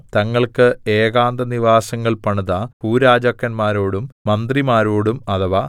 തങ്ങൾക്ക് ഏകാന്തനിവാസങ്ങൾ പണിത ഭൂരാജാക്കന്മാരോടും മന്ത്രിമാരോടും അഥവാ